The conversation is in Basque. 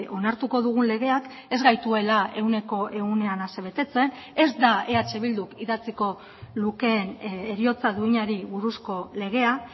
onartuko dugun legeak ez gaituela ehuneko ehunean asebetetzen ez da eh bilduk idatziko lukeen heriotza duinari buruzko legea